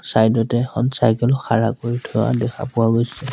Side এ এখন cycle খাৰা কৰি থোৱা দেখা পোৱা গৈছে।